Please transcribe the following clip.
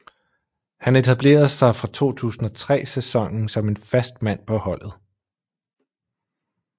Han etablerede sig fra 2003 sæsonen som en fast mand på holdet